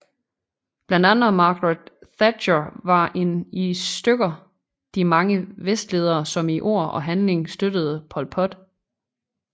Blandt andre Margaret Thatcher var en i stykker de mange vestledere som i ord og handling støttede Pol Pot